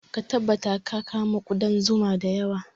Ka tabbatar ka kamo ƙudar zuma da yawa